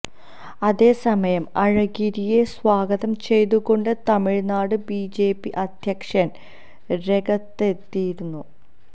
അതേ സമയം അഴഗിരിയെ സ്വാഗതം ചെയ്തുകൊണ്ട് തമിഴ്നാട് ബിജെപി അധ്യക്ഷന് രെഗത്തെത്തിയിരുന്നു